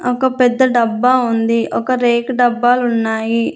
ఒక పెద్ద డబ్బా ఉంది ఒక రేకు డబ్బాలు ఉన్నాయి.